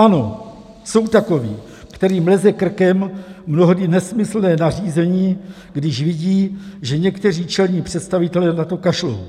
Ano, jsou takoví, kterým leze krkem mnohdy nesmyslné nařízení, když vidí, že někteří čelní představitelé na to kašlou.